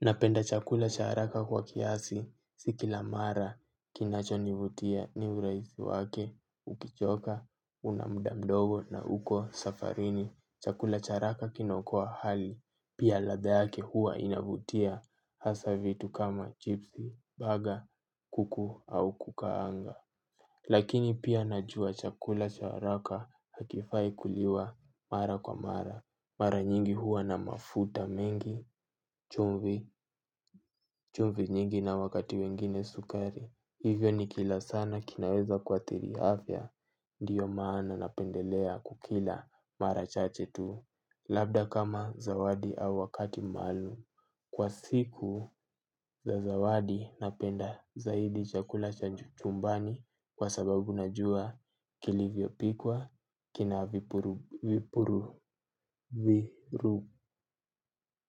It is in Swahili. Napenda chakula cha haraka kwa kiasi, sikila mara, kinacho nivutia ni uraisi wake, ukichoka, unamda mdogo na uko safarini, chakula cha haraka kinaokoa hali, pia ladha yake huwa inavutia, hasa vitu kama chipsi, baga, kuku au kukaanga. Lakini pia najua chakula cha haraka hakifai kuliwa mara kwa mara. Mara nyingi huwa na mafuta mengi, chumvi, chumvi nyingi na wakati wengine sukari. Hivyo nikila sana kinaweza kuathiri afya, ndiyo maana napendelea kukila mara chache tu. Labda kama zawadi au wakati maluum. Kwa siku za zawadi napenda zaidi chakula cha chumbani kwa sababu najua kilivyo pikwa kina vipuru vipuru